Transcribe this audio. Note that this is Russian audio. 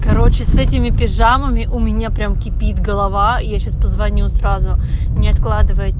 короче с этими пижамами у меня прям кипит голова я сейчас позвоню сразу не откладывая